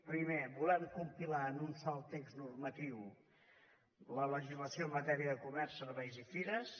primer volem compilar en un sol text normatiu la legislació en matèria de comerç serveis i fires